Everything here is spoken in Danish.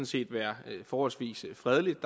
set være forholdsvis fredeligt og